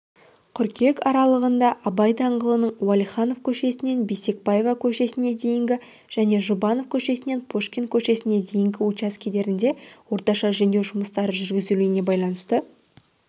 қыркүйек аралығында абай даңғылының уәлиханов көшесінен бейсекбаева көшесіне дейінгі және жұбанов көшесінен пушкин көшесіне дейінгі учаскелерінде орташа жөндеу жұмыстарын жүргізуге байланысты